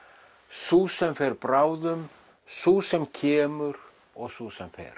sú sem fer bráðum sú sem kemur og sú sem fer